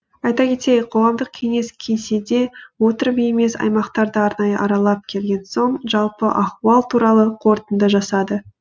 айта кетейік қоғамдық кеңес кеңседе отырып емес аймақтарды арнайы аралап келген соң жалпы ахуал туралы қорытынды жасады